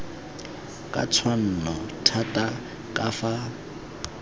ka tshwanno thata ka fa